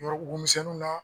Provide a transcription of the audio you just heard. Yɔrɔbugu misɛnniw na.